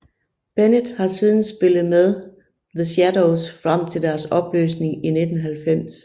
Bennett har siden spillet med The Shadows frem til deres opløsning i 1990